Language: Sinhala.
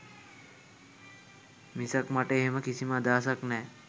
මිසක් මට එහෙම කිසිම අදහසක් නෑ.